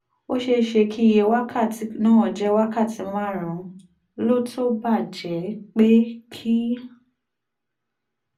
ó ṣeé ṣe kí iye wákàtí náà ju wákàtí márùn-ún lọ tó bá jẹ́ pé kì